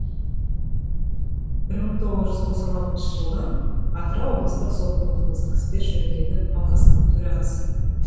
мың тоғыз жүз тоқсан алтыншы жылдан атырау облыстық сотының қылмыстық істер жөніндегі алқасының төрағасы